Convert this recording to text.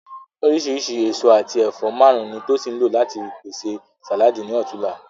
Oríṣìíríṣìí èso àti ẹ̀fọ́ márùn-ún ni Tosin lò láti pèsè sàláàdì ní ọ̀tunla